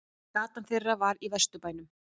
Gatan þeirra var í Vesturbænum.